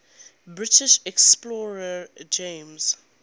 british explorer james